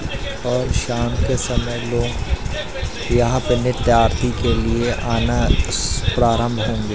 और शाम के समय लोग यहां पे नित्य आरती के लिए आना स्स प्रारंभ होंगे।